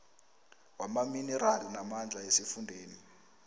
wamaminerali namandla esifundeni